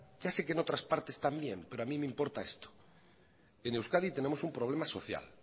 ya sé que en otras partes también pero a mí me importa esto en euskadi tenemos un problema social